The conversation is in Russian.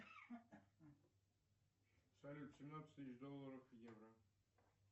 салют семнадцать тысяч долларов в евро